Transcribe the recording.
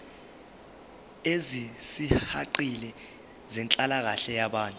ezisihaqile zenhlalakahle yabantu